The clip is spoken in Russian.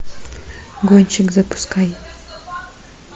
гонщик запускай